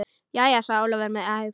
Jæja, sagði Ólafur með hægð.